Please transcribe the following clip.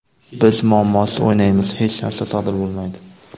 Biz muammosiz o‘ynaymiz, hech narsa sodir bo‘lmaydi.